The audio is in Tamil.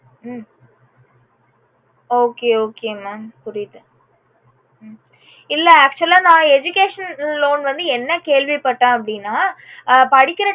உம் okay okaymam புரியுது ஹம் இல்ல actual ஆ நா educational loan வந்து என்ன கேள்வி பட்டேன் அப்புடின்னா அஹ் படிக்கற